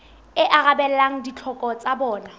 e arabelang ditlhoko tsa bona